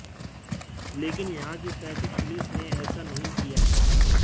लेकिन यहां की ट्रैफिक पुलिस ने ऐसा नहीं किया